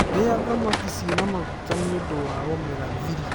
Rĩa thamaki cĩĩna maguta nĩ ũndũ wa omega-3